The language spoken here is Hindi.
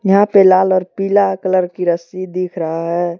यहां पे लाल और पीला कलर की रस्सी दिख रहा है।